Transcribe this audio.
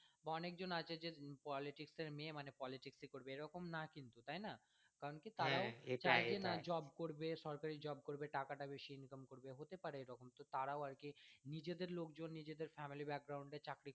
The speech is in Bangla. অনেকজন আছে যে politics এর মেয়ে মানে politics ই করবে এরকম না কিন্তু তাই না কারণ যে job করবে সরকারি job করবে টাকাটা বেশি income করবে হতে পারে এরকম তো তারাও আর কি নিজেদের লোক জন নিজেদের family এর চাকরি